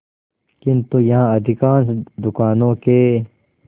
किंतु यहाँ अधिकांश दुकानों के